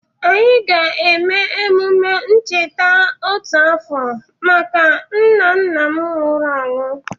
Anyị ga-eme emume ncheta otu afọ maka nna nna m nwụrụ anwụ.